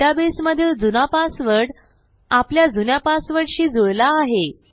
डेटाबेसमधील जुना पासवर्ड आपल्या जुन्या पासवर्डशी जुळला आहे